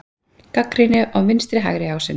Gagnrýni á vinstri-hægri ásinn